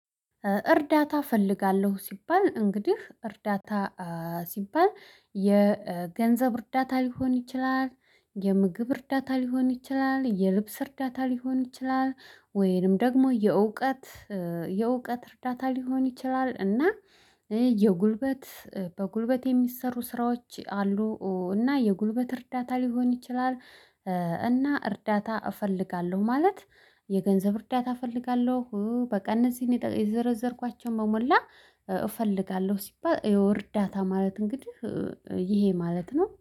እርዳታ እፈልጋለሁ ሲባል እንግዲህ እርዳታ ሲባል የገንዘብ እርዳታ ሊሆን ይችላል። የምግብ እርዳታ ሊሆን ይችላል የልብስ እርዳታ ሊሆን ይችላል ወይንም ደግሞ የእውቀት። የእውቀት እርዳታ ሊሆን ይችላል እና። የጉልበት በጉልበት የሚሰሩ ስራዎች አሉ። እና የጉልበት እርዳታ ሊሆን ይችላል። እና እርዳታ እፈልጋለሁ ማለት የገንዘብ እርዳታ እፈልጋለሁ በቀን እነዚህን የዘረዘርኳቸውን በሞላ እፈልጋለሁ ሲባል የው እርዳታ ማለት እንግዲህ ይሄ ማለት ነው